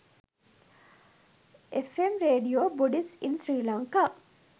fm radio buddhist in sri lanka